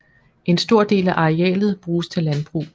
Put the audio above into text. En stor del af arealet bruges til landbrug